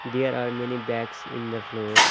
There are many bags in the floor.